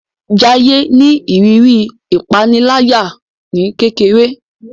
Jaiye ní ìrírí ìpaniláyà ní kékeré